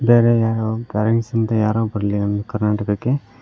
ಬೇರೆ ಯಾರೊ ಬರ್ಲಿ ನಮ್ ಕರ್ನಾಟಕಕ್ಕೆ--